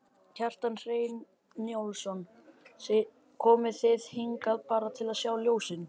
Kjartan Hreinn Njálsson: Komuð þið hingað bara til að sjá ljósin?